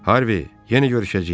Harvi, yenə görüşəcəyik.